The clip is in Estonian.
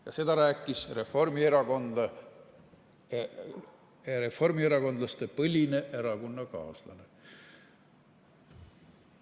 " Ja seda rääkis reformierakondlaste põline erakonnakaaslane.